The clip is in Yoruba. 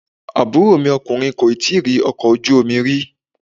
Àbúrò mi ọkùnrin kò tíì rí ọkọ̀ ojú omi rí.